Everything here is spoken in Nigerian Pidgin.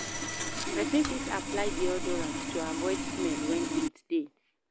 Persin fit apply deoderant to avoid smell when heat de